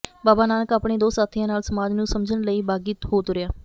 ਬਾਬਾ ਨਾਨਕ ਆਪਣੇ ਦੋ ਸਾਥੀਆਂ ਨਾਲ ਸਮਾਜ ਨੂੰ ਸਮਝਣ ਲਈ ਬਾਗੀ ਹੋ ਤੁਰਿਆ